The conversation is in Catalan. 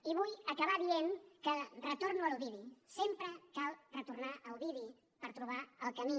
i vull acabar dient que retorno a l’ovidi sempre cal retornar a ovidi per trobar el camí